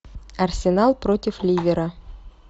арсенал против ливера